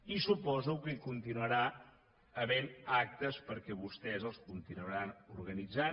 i suposo que hi continuaran havent actes perquè vostès els continuaran organitzant